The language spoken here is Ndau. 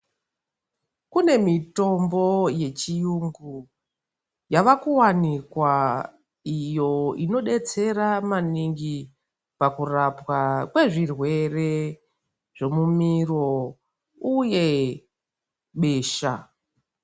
Kune mitombo yechiyungu yava kuvanokwa. Iyo inobetsera maningi pakurapwa kwezvirwere zvemumiro uye besha.